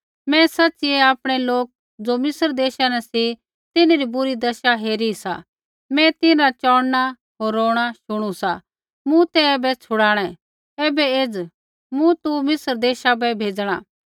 मैं सच़िऐ आपणै लोक ज़ो मिस्र देशा न सी तिन्हरी बुरी दशा हेरी सा मैं तिन्हरा चोंणना होर रोणां शुणू सा मूँ ते ऐबै छुड़ाणै ऐबै एज़ मूँ तू मिस्र देशा बै भेज़णा